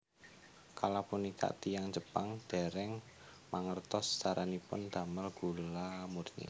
Kala punika tiyang Jepang dèrèng mangertos caranipun damel gula murni